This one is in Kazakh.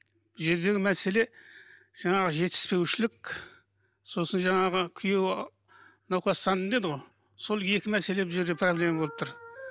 бұл жердегі мәселе жаңағы жетіспеушілік сосын жаңағы күйеуі науқастандым деді ғой сол екі мәселе бұл жерде проблема болып тұр